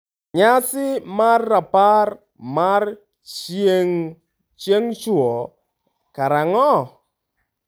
Nyasi mar rapar mar chieng'chwo karang'o?